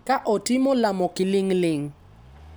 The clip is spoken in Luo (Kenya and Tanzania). ka otimo lamo kiling’ling'.